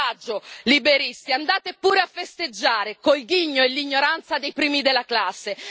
Coraggio, liberisti, andate pure a festeggiare col ghigno e l'ignoranza dei primi della classe.